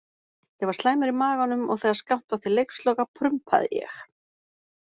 Ég var slæmur í maganum og þegar skammt var til leiksloka prumpaði ég.